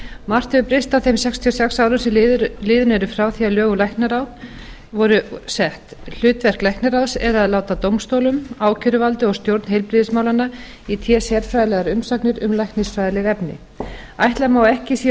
margt hefur breyst á þeim sextíu og sex árum sem liðin eru frá því að lög um læknaráð voru sett hlutverk læknaráðs er að láta dómstólum ákæruvaldi og stjórn heilbrigðismálanna í té sérfræðilegar umsagnir um læknisfræðileg efni ætla má að ekki séu